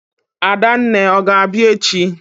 Adanne, ọ ga-abịa echi?